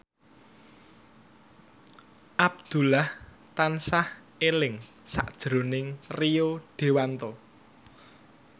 Abdullah tansah eling sakjroning Rio Dewanto